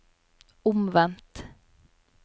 omvendt